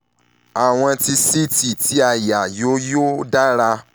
àwòn ti ct ti àyà yóò yóò dara